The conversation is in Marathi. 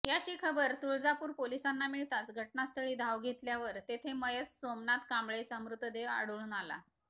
याची खबर तुळजापूर पोलिसांना मिळताच घटनास्थळी धाव घेतल्यावर तेथे मयत सोमनाथ कांबळेचा मृतदेह आढळून आला